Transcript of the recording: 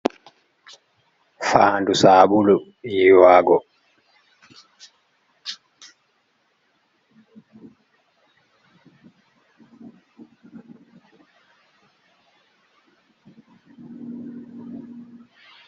Fandu sabulu yiwago.